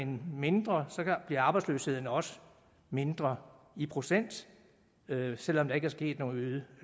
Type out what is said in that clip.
mindre bliver arbejdsløsheden også mindre i procent selv om der ikke er sket nogen